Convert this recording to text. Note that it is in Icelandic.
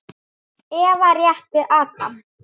Eva rétti Adam.